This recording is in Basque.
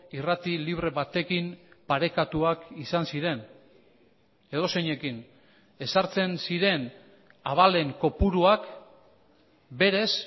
irrati libre batekin parekatuak izan ziren edozeinekin ezartzen ziren abalen kopuruak berez